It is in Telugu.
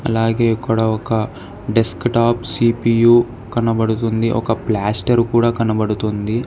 అలాగే ఇక్కడ ఒక డెస్క్ టాప్ సిపియు కనబడుతుంది ఒక ప్లాస్టర్ కూడా కనబడుతుంది.